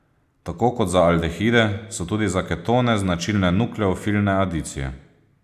Tako kot za aldehide so tudi za ketone značilne nukleofilne adicije.